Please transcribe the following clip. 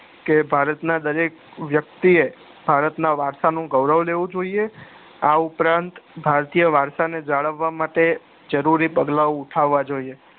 કે ભારત ના દરેક વ્યક્તિ એ ભારતના વારસાનું ગોરવ લેવું જોઈએ આ ઉપરાંત ભારતીય વારસાને જાળવા માટે જરૂરી પગલા ઉઠવા જોઈએ